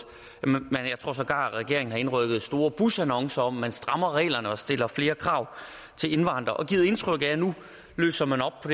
jeg tror sågar at regeringen har indrykket store busannoncer om at man strammer reglerne og stiller flere krav til indvandrere og har givet indtryk af at nu løser man op